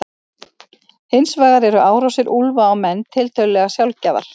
Hins vegar eru árásir úlfa á menn tiltölulega sjaldgæfar.